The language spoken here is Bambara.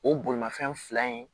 O bolimafɛn fila in